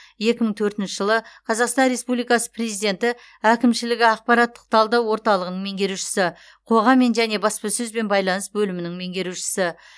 екі мың төртінші жылы қазақстан республикасы президенті әкімшілігі ақпараттық талдау орталығының меңгерушісі қоғаммен және баспасөзбен байланыс бөлімінің меңгерушісі